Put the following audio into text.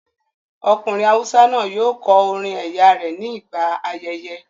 Ọkùnrin awúsá náà yóò kọ orin ẹ̀yà rẹ ní gbà ayẹyẹ